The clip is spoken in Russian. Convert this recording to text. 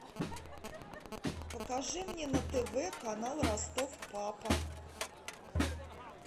покажи мне на тв канал ростов папа